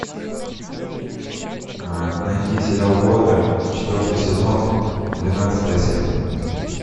найди сериал готэм четвертый сезон двенадцатая серия